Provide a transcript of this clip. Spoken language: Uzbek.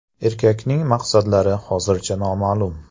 Erkakning maqsadlari hozircha noma’lum.